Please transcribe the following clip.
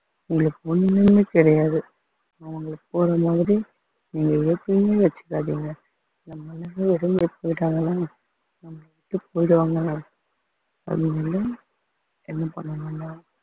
அவங்களுக்கு ஒண்ணுமே கிடையாது அவங்களுக்கு மாதிரி நீங்க எதுவுமே வச்சுக்காதீங்க அதனால எதுவும் பண்ண வேணாம்